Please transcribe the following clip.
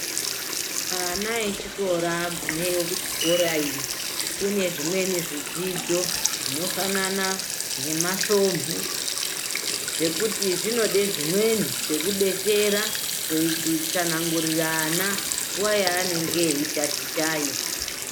Ana echikora agumeyo kuchikora iyo kune zvimweni zvidzidzo zvinofanana ngemasvomhu zvekuti zvinoda zvimweni zvekubetsera kutsanangurira ana nguwa yaanenge eyiatichayo .